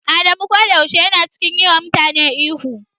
Adamu koda yaushe yana cikin yi wa mutane ihu.